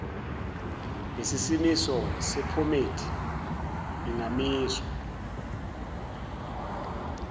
lesimiso sephomedi ingamiswa